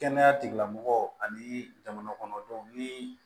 Kɛnɛya tigilamɔgɔw ani jamana kɔnɔ denw ni